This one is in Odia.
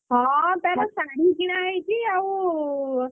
ହଁ ତାର ଶାଢୀ କିଣା ହେଇଛି ଆଉ